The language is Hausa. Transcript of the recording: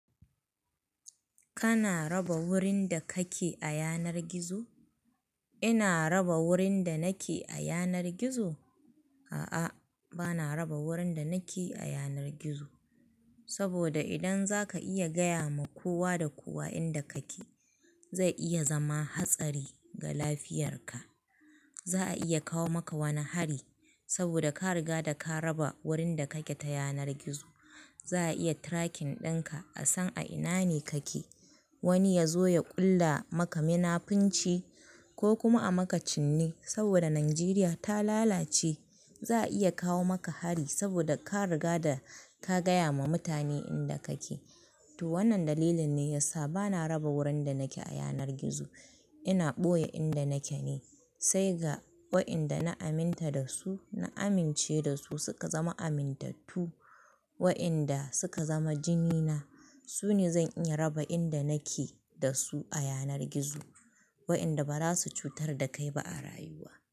Kana raba wurin da kake a yanar gizo? Ina raba wurin da nake a yanar gizo? A'a, bana raba wurin da nake a yanar gizo. Saboda idan zaka iya gaya ma kowa da kowa inda kake, zai iya zama hatsari ga lafiyarka. Za a iya kawo maka wani hari saboda ka riga da ka raba wurin da kake ta yanar gizo. Za a iya tracking ɗinka a san a ina ne kake. Wani ya zo ya ƙulla maka mina finci ko kuma a maka cinne saboda Najeriya ta lalace. Za a iya kawo maka hari saboda ka riga da ka gaya ma mutane inda kake. To wannan dalilin ne yasa bana raba wurin da nake a yanar gizo. Ina ɓoye inda nake ne sai ga wa'yanda na aminta da su, na amince da su, suka zama amintattu, wa'yanda suka zama jini na. Su ne zan iya raba inda nake da su a yanar gizo waɗanda ba za su cutar da kai ba a rayuwa.